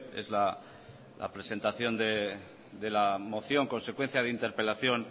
es la presentación de la moción consecuencia de interpelación